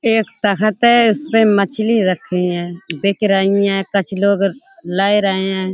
एक तखत है उसपे मछली रखी है। बिक रहीं है। कछु लोग लय रहे है।